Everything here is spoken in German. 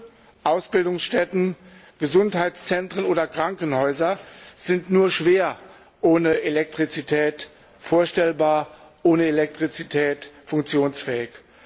Schulen, Ausbildungsstätten, Gesundheitszentren oder Krankenhäuser sind nur schwer ohne Elektrizität vorstellbar, ohne Elektrizität funktionsfähig.